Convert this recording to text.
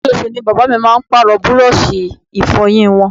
Oṣooṣù ni bàbá mi máa ń Pààrọ̀ búrọ́ọ̀ṣì Ìfọ̀yín wọn